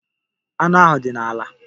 Anụ ahụ dị n'ala.